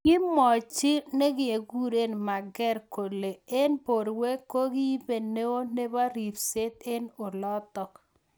Kimwachi nekekure Merker kolu eng borwek kiibe neo nebo ribset eng olotok.